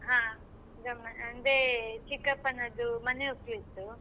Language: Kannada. ಹಾ ಗಮ್ಮತ್ ಅಂದ್ರೆ ಚಿಕ್ಕಪ್ಪನದ್ದು ಮನೆಯೊಕ್ಲು ಇತ್ತು.